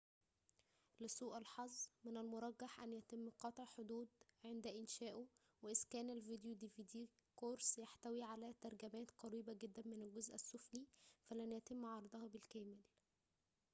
لسوء الحظ من المرجح أن يتم قطع حدود قرص dvd عند إنشاؤه وإذا كان الفيديو يحتوي على ترجمات قريبة جداً من الجزء السفلي فلن يتم عرضها بالكامل